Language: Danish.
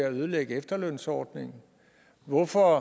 at ødelægge efterlønsordningen hvorfor